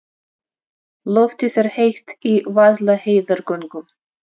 Loftið er heitt í Vaðlaheiðargöngum.